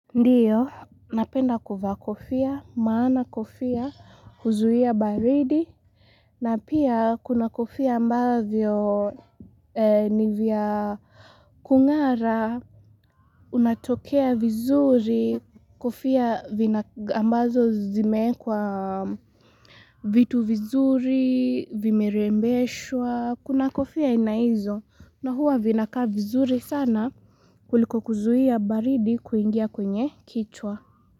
Ndio napenda kuvaa kofia maana kofia huzuia baridi na pia kuna kofia ambavyo ni vya kung'ara unatokea vizuri kofia ambazo zimeekwa vitu vizuri vimerembeshwa kuna kofia aina hizo na huwa vinakaa vizuri sana kuliko kuzia baridi kuingia kwenye kichwa.